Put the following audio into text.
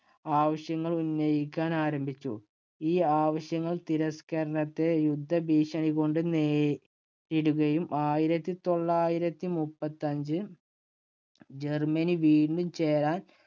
ആവശ്യങ്ങൾ ഉന്നയിക്കാൻ ആരംഭിച്ചു. ഈ ആവശ്യങ്ങള്‍ തിരസ്കരണത്തെ യുദ്ധഭീഷണി കൊണ്ട് നേ~നേരിടുകയും ആയിരത്തി തൊള്ളായിരത്തി മുപ്പത്തഞ്ച് ജർമ്മനി വീണ്ടും ചേരാൻ